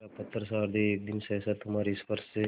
मेरा पत्थरसा हृदय एक दिन सहसा तुम्हारे स्पर्श से